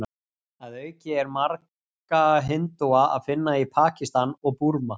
Að auki er marga hindúa að finna í Pakistan og Búrma.